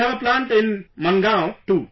We have a plant in Maangaon too